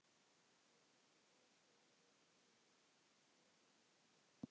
Ef til vill húninum sínum?